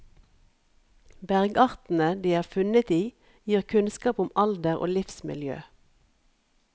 Bergartene de er funnet i gir kunnskap om alder og livsmiljø.